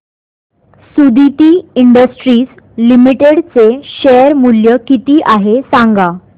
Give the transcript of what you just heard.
Suditi industries limited चे share मूल्य किती आहे सांगा